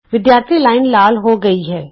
ਵਿਦਿਆਰਥੀ ਲਾਈਨ ਲਾਲ ਹੋ ਗਈ ਹੈ